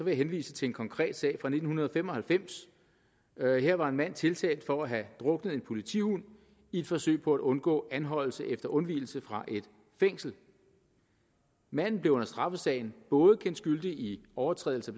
jeg henvise til en konkret sag fra nitten fem og halvfems her var en mand tiltalt for at have druknet en politihund i et forsøg på at undgå anholdelse efter undvigelse fra et fængsel manden blev under straffesagen både kendt skyldig i overtrædelse